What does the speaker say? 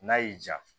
N'a y'i ja